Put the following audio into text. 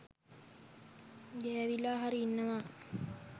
ගෑවිලා හරි ඉන්නවා.